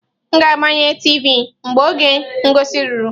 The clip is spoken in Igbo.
M ga-agbanye tiivi mgbe oge ngosi ruru.